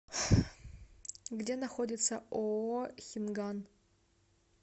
где находится ооо хинган